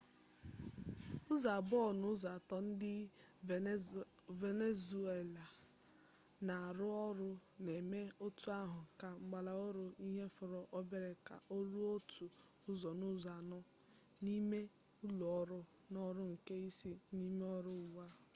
ụzọ abụọ n'ụzọ atọ ndi venezuela na aru oru na-eme etu ahụ na ngalaba oru ihe fọrọ obere ka o ruo otu ụzọ n'ụzọ anọ n'ime ulo oru na oru nke ise n'ime oru ugbo